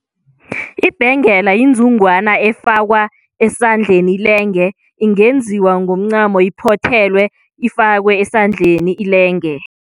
Ibhengela yinzungwana efakwa esandleni ilenge ingenziwa ngomncamo iphothelwe ifakwe esandleni ilenge.